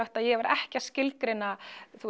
að ég var ekki að skilgreina